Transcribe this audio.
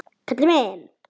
Kalli minn!